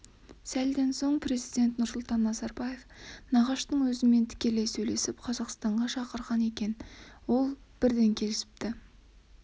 сәлден кейін президент нұрсұлтан назарбаев нағаштың өзімен тікелей сөйлесіп қазақстанға шақырған екен ол бірден келісіпті